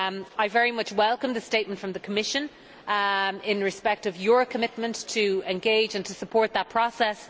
I very much welcome the statement from the Commission in respect of Parliament's commitment to engage and to support that process.